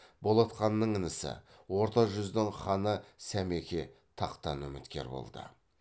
болат ханның інісі орта жүздің ханы сәмеке тақтан үміткер болды